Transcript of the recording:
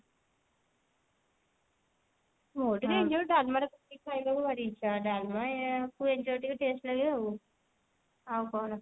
ମୁଁ ଟିକେ ଇଞ୍ଚଡ ଡାଲମା ରେ ପକେଇକି ଖାଇବାକୁ ଭାରି ଇଛା ଡାଲମା କୁ ଇଞ୍ଚଡ ଟିକେ taste ଲାଗେ ଆଉ ଆଉ କଣ